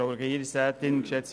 Kommissionssprecher